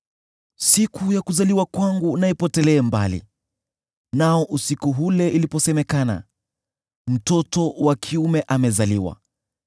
“Siku ya kuzaliwa kwangu na ipotelee mbali, nao usiku ule iliposemekana, ‘Mtoto wa kiume amezaliwa!’